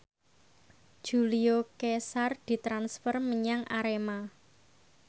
Julio Cesar ditransfer menyang Arema